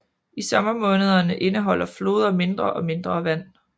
I sommermånederne indeholder floder mindre og mindre vand